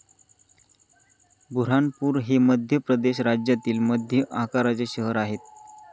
बुऱ्हाणपूर हे मध्य प्रदेश राज्यातील मध्य आकाराचे शहर आहे.